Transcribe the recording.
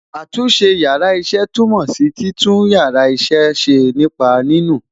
Àtúnṣe yàrá iṣẹ́ túmọ̀ sí títún yàrá iṣẹ́ ṣe nípa nínù.